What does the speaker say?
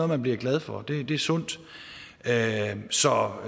man bliver glad for det er sundt så